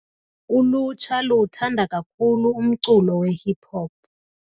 Ulutsha luwuthanda kakhulu umculo wehip-hop.